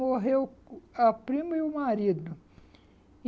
Morreu a prima e o marido.